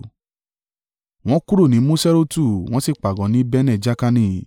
Wọ́n kúrò ní Moserotu wọ́n sì pàgọ́ ní Bene-Jaakani.